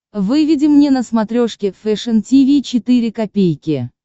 выведи мне на смотрешке фэшн ти ви четыре ка